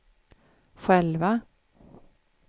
själva